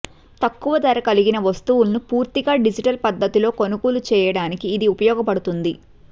తక్కువ ధర కలిగిన వస్తువులను పూర్తిగా డిజిటల్ పద్ధతిలో కొనుగోలు చేయడానికి ఇది ఉపయోగపడుతుంది